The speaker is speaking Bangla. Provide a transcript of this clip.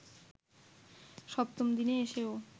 সপ্তম দিনে এসেও